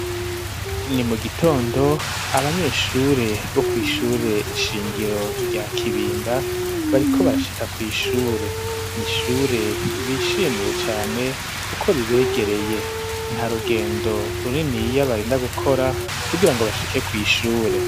Ni mu gitondo, abanyeshure, bo kw'ishure shingiro, rya Kibimba, bariko barashika, kw'ishure; ni ishure bishimiye cane, kuko ribegereye; nta rugendo runiniya, barinda gukora, kugira ngo bashike, kw'ishure.